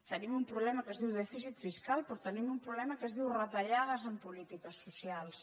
tenim un problema que es diu dèficit fiscal però te·nim un problema que es diu retallades en polítiques socials